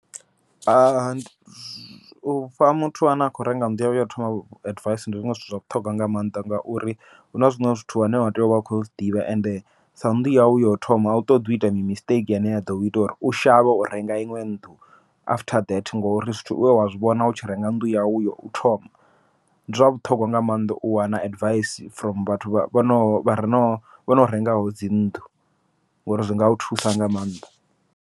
Ufha muthu ane a kho renga nnḓu yawe yau thoma advice, ndi zwiṅwe zwithu zwa vhuṱhogwa nga maanḓa ngauri huna zwiṅwe zwithu wa tea uvha u kho zwiḓivha ende sa nnḓu yau, yau thoma a u ṱoḓi uita mistake ine ya ḓo ita uri u shavhe u renga iṅwe nnḓu. After that ngori zwithu zwe wa zwivhona u tshi renga nnḓu yau yo u thoma, ndi zwa vhuṱhogwa nga maanḓa u wana advice from vhathu vhono, vhare no vhono rengaho dzi nnḓu ngori zwi ngau thusa nga maanḓa.